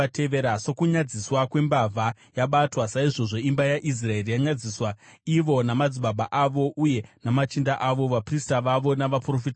“Sokunyadziswa kwembavha yabatwa, saizvozvo imba yaIsraeri yanyadziswa, ivo namadzimambo avo uye namachinda avo, vaprista vavo navaprofita vavo.